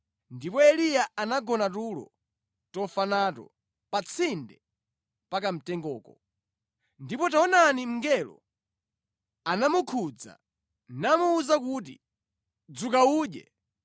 Ndipo Eliya anagona tulo tofa nato pa tsinde pa kamtengoko. Ndipo taonani, mngelo anamukhudza, namuwuza kuti, “Dzuka udye.”